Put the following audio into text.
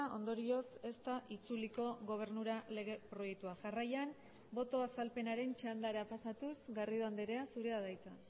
ondorioz ez da itzuliko gobernura lege proiektua jarraian boto azalpenaren txandara pasatuz garrido andrea zurea da hitza